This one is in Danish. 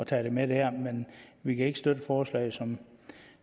tage det med der men vi kan ikke støtte forslaget som